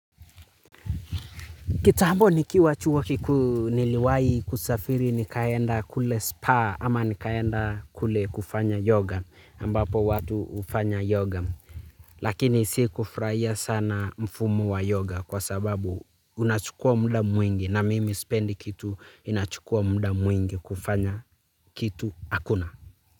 Kitambo nikiwa chuo kikuu niliwahi kusafiri nikaenda kule spa ama nikaenda kule kufanya yoga ambapo watu hufanya yoga. Lakini si kufurahia sana mfumo wa yoga kwa sababu unachukua mda mwingi na mimi spendi kitu inachukua mda mwingi kufanya kitu akuna.